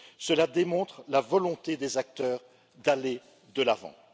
Cela démontre la volonté des acteurs d'aller de l'avant.